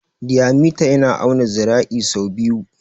Diyamita yana auna zira'i sau biyu.